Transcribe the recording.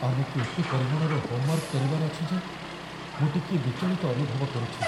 ଆମକୁ ଏତେ ପରିମାଣର ହୋମ୍‌ୱାର୍କ କରିବାର ଅଛି ଯେ ମୁଁ ଟିକିଏ ବିଚଳିତ ଅନୁଭବ କରୁଛି।